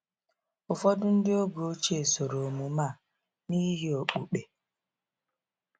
Ụfọdụ ndị oge ochie soro omume a n’ihi okpukpe.